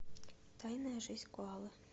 тайная жизнь коалы